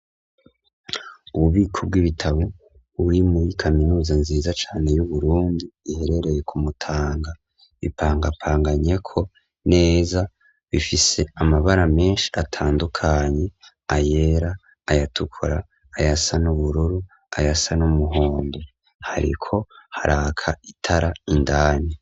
Ububiko bw'ibitabo, buri muri kaminuza, nziza cane, y'Uburundi, iherereye kumutanga; bipangapanganyeko neza, bifise amabara menshi, atandukanye; ayera, ayatukura, ayasa n'ubururu, ayasa n'umuhondo; hariko haraka itara, indani.